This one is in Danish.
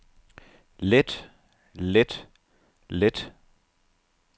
let let let